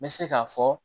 N bɛ se k'a fɔ